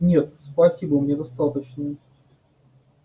нет спасибо мне достаточно